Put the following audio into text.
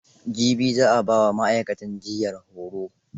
Jibi za a ba wa ma'aikatan jiyyar horo.